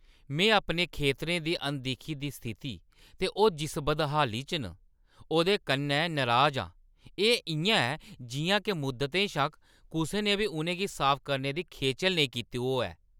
में अपने खेतरें दी अनदिक्खी दी स्थिति ते ओह् जिस बदहाली च न, ओह्दे कन्नै नराज आं। एह् इʼयां ऐ जिʼयां के मुद्दतें शा कुसै ने बी उʼनें गी साफ करने दी खेचल नेईं कीती होऐ।